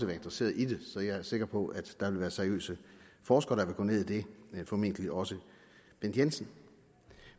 være interesseret i det så jeg er sikker på at der vil være seriøse forskere der vil gå ned i det formentlig også bent jensen